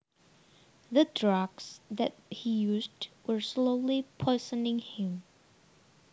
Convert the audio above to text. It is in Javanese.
The drugs that he used were slowly poisoning him